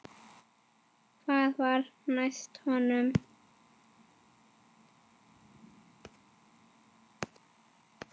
Hvað var næst honum?